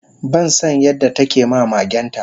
bansan yadda takema magenta